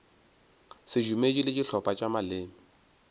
sedumedi le dihlopha tša maleme